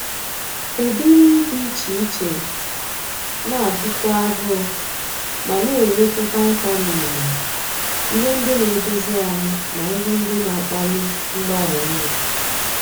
Ụdị nri dị iche iche na-agụ kwu agụụ ma na-enyekwu vaịtaminụ, ihe ndị na-edozi ahụ, na ihe ndị na-akpali mgbari nri.